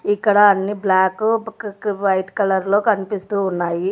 ఇక్కడ అన్ని black white కలర్లో కనిపిస్తూ ఉన్నాయి.